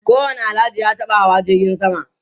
Duk wani Alhaji ya taba hawa jirgin sama.